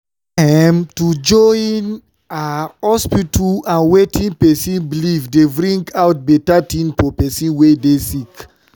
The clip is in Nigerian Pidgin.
em- to join ah hospita and wetin pesin belief dey bring out beta tin for pesin wey dey sick